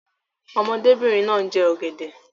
Ọmọdébìnrin náà ń jẹ ọ̀gẹ̀dẹ̀.